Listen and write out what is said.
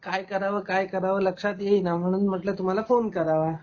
काय कराव, काय कराव लक्षात येईना म्हणून म्हणल तुम्हाला फोन करावा.